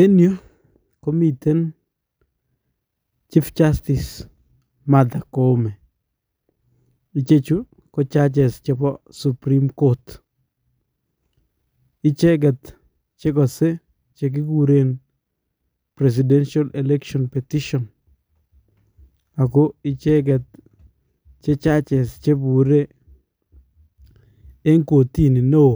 En yuu komiten chief justice Martha koome. Ichechu, ko judges chebo supreme court. Icheget chekose chekikuren presidential election petition ago icheget ko judges chebure en kotini newo